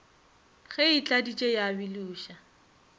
ge e tladitše ya biloša